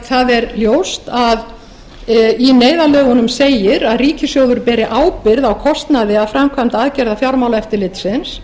það er ljóst að í neyðarlögunum segir að ríkissjóður beri ábyrgð á kostnaði af framkvæmd aðgerða fjármálaeftirlitsins